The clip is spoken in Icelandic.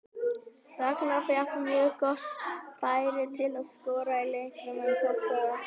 Ragnar fékk mjög gott færi til að skora í leiknum en tókst það ekki.